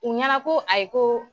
U ɲɛna ko ayi , ko